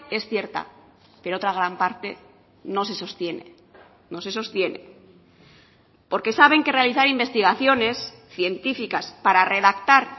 es cierta pero otra gran parte no se sostiene no se sostiene porque saben que realizar investigaciones científicas para redactar